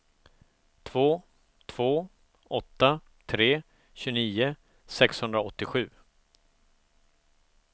två två åtta tre tjugonio sexhundraåttiosju